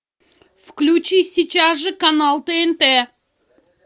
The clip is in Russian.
включи сейчас же канал тнт